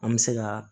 An bɛ se ka